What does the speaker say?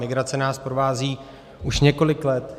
Migrace nás provází už několik let.